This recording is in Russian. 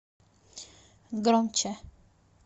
громче